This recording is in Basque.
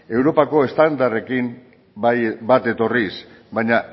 europako standarrekin bat etorriz baina